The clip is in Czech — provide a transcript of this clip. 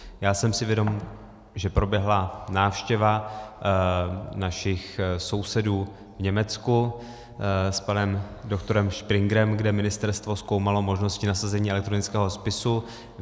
Já jsem si vědom, že proběhla návštěva našich sousedů v Německu s panem doktorem Springrem, kde ministerstvo zkoumalo možnosti nasazení elektronického spisu.